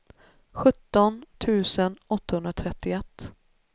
sjutton tusen åttahundratrettioett